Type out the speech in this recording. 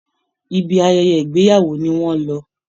Ibi ayẹyẹ ìgbéyàwó ni wọ́n lọ